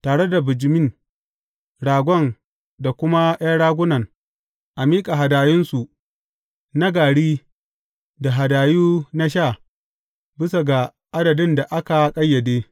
Tare da bijimin, ragon da kuma ’yan ragunan, a miƙa hadayunsu na gari da hadayu na sha bisa ga adadin da aka ƙayyade.